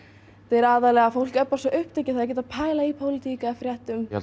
er aðallega að fólk er svo upptekið ekkert að pæla í pólitík eða fréttum ég